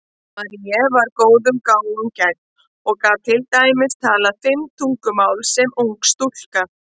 Marie var góðum gáfum gædd og gat til dæmis talað fimm tungumál sem ung stúlka.